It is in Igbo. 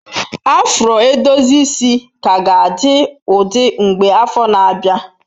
Afro edozi isi ka ga-adị ụdị mgbe afọ na-abịa.